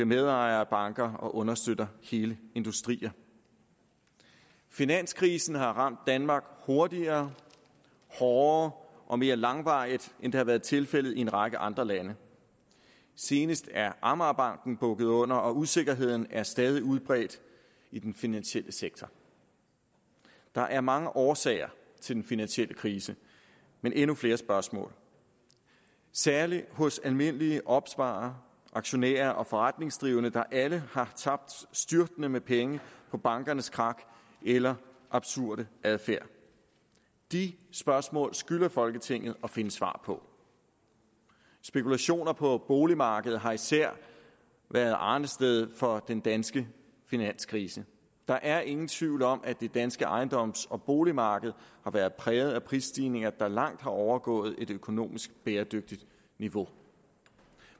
medejere af banker og understøtter hele industrier finanskrisen har ramt danmark hurtigere hårdere og mere langvarigt end det har været tilfældet i en række andre lande senest er amagerbanken bukket under og usikkerheden er stadig udbredt i den finansielle sektor der er mange årsager til den finansielle krise men endnu flere spørgsmål særlig hos almindelige opsparere aktionærer og forretningsdrivende der alle har tabt styrtende med penge på bankernes krak eller absurde adfærd de spørgsmål skylder folketinget at finde svar på spekulationer på boligmarkedet har især været arnestedet for den danske finanskrise der er ingen tvivl om at det danske ejendoms og boligmarked har været præget af prisstigninger der langt har overgået et økonomisk bæredygtigt niveau